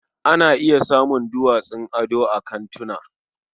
Ana iya samun duwatsun ado a kantina.